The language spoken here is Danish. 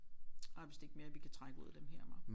Der er vist ikke mere vi kan trække ud af dem her hva